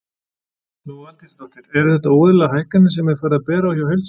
Lóa Aldísardóttir: Eru þetta óeðlilegar hækkanir sem er farið að bera á hjá heildsölum?